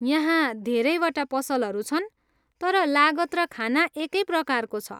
यहाँ धेरैवटा पसलहरू छन्, तर लागत र खाना एकै प्रकारको छ।